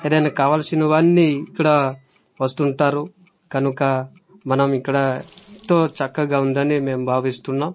ఏదైనా కావల్సిన వన్నీ ఇక్కడ వస్తుంటుంటారు కనుక మనం ఇక్కడ ఎంతో చక్కగా ఉందని మేం భావిస్తున్నాం.